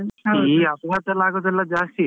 ಈ ಅಪಘಾತ ಅಗುದೆಲ್ಲ ಜಾಸ್ತಿಯೇ.